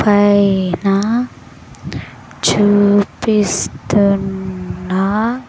పైన చూపిస్తున్నా --